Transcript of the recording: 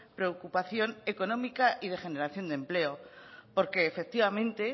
preocupación económica y de generación de empleo porque efectivamente